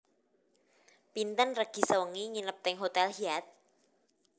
Pinten regi sewengi nginep teng hotel Hyatt